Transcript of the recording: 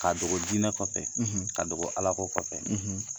K'a dogo jinɛ kɔfɛ, k'a dogo Ala ko kɔfɛ